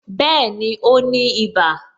Bẹẹni, ó ní ibà